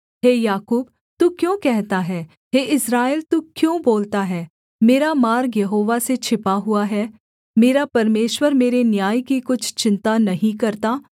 हे याकूब तू क्यों कहता है हे इस्राएल तू क्यों बोलता है मेरा मार्ग यहोवा से छिपा हुआ है मेरा परमेश्वर मेरे न्याय की कुछ चिन्ता नहीं करता